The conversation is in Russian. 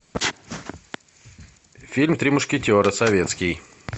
фильм три мушкетера советский